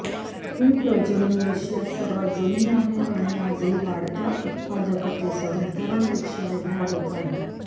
ही प्रजनन रशियात सर्वात जुनी आहे आणि आज ही वाढत्या उत्पादकतेसह इतरांपेक्षा वेगळ्या होत आहे